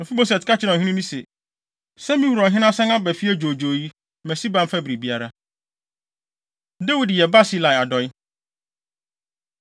Mefiboset ka kyerɛɛ ɔhene no se, “Sɛ me wura ɔhene asan aba fie dwoodwoo yi, ma Siba mfa biribiara.” Dawid Yɛ Barsilai Adɔe